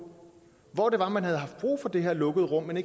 hvordan man kan